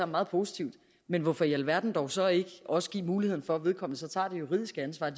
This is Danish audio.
meget positivt men hvorfor i alverden dog så ikke også give muligheden for at vedkommende tager det juridiske ansvar